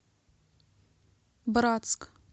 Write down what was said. братск